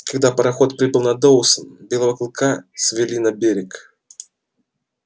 когда пароход прибыл в доусон белого клыка свели на берег